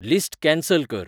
list cancel कर